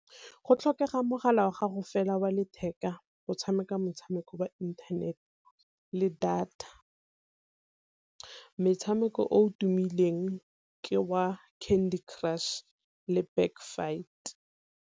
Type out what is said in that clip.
Go tlhokega mogala wa gago fela wa letheka go tshameka motshameko wa inthanete le data, metshameko o tumileng ke wa Candy Crush le Backfight.